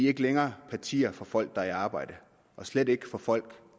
ikke længere partier for folk der er i arbejde og slet ikke for folk